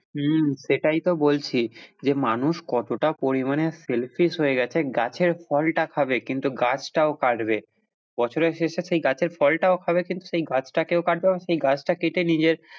হম সেটাই তো বলছি যে মানুষ কতটা পরিমানে selfish হয়ে গেছে গাছের ফলটা খাবে কিন্তু গাছটাও কাটবে, বছরের শেষে সেই গাছের ফলটাও খাবে সেই গাছটাকেও কাটবে এবং সেই গাছটা কেটে নিজের,